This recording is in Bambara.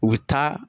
U bɛ taa